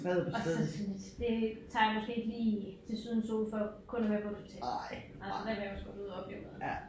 Og så synes det tager jeg måske ikke lige til sydens sol for kun at være på et hotel. Altså der vil jeg også godt ud og opleve noget